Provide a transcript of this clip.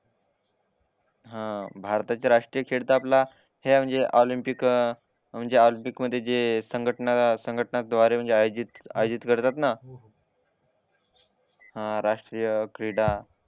हा भारताचे राष्ट्रीय खेळ तर आपला हे म्हणजे ऑलिंपिक अं म्हणजे ऑलिंपिकमधे जे संघटन संघटना द्वारे म्हणजे आयोजित आयोजित करतात ना हा राष्ट्रीय क्रीडा